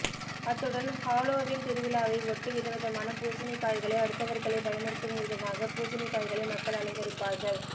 அத்துடன் ஹாலோவின் திருவிழாவை ஒட்டி விதவிதமான பூசணிக்காய்களை அடுத்தவர்களை பயமுறுத்தும்விதமாக பூசணிக்காய்களை மக்கள் அலங்கரிப்பார்கள்